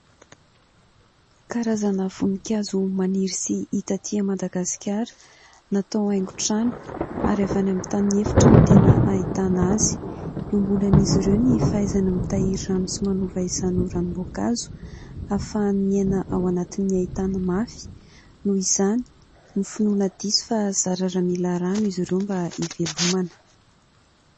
Karazana voninkazo maniry sy hita aty Madagasikara. Natao haingo trano ary avy any amin'ny tany efitra no tena ahitana azy. Iombonan'izy ireo ny fahaizana mitahiry rano sy manova izany ho ranom-boankazo ; ahafahany miaina ao anatin'ny haintany mafy noho izany ny finoana diso fa zara raha mila rano izy ireo mba hivelomana.